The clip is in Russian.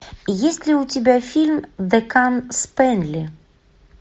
есть ли у тебя фильм декан спэнли